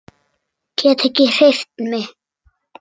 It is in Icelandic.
Get ekki hreyft mig.